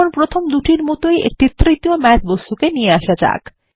এখন প্রথম দুটির মতই আরো একটি তৃতীয় ম্যাথ বস্তুকে নিয়ে আসা যাক